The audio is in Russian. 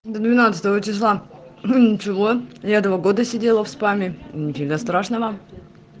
до двенадцатого числа ничего я два года сидела в спаме не фига страшного